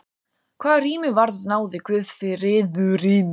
Hvað rými varðar náði guðsfriðurinn til klaustra, kirkna og kirkjugarða.